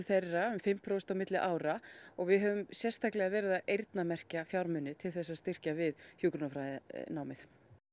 þeirra um fimm prósent á milli ára og við höfum sérstaklega verið að eyrnamerkja fjármuni til þess að styrkja við hjúkrunarfræðinámið